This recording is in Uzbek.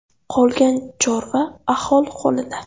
Qolgan chorva aholi qo‘lida.